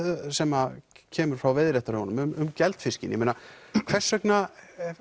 sem kemur frá veiðiréttarhöfunum um geldfiskinn hvers vegna